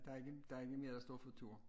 Der ikke der ikke lige mere der står for tur